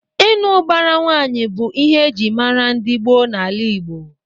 Ịnụ ụbara nwaanyị bụ ihe eji mara ndị gboo na-ala Igbo.